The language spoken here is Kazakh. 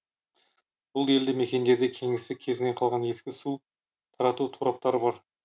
бұл елді мекендерде кеңестік кезінен қалған ескі су тарату тораптары бар